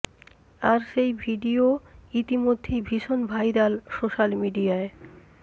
আর সেই ভিডিও ইতিমধ্যেই ভীষণ ভাইরাল সোশ্যাল মিডিয়ায়